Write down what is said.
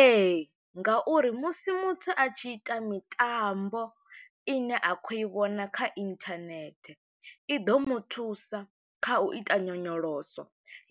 Ee, ngauri musi muthu a tshi ita mitambo ine a khou i vhona kha internet, i ḓo muthusa kha u ita nyonyoloso,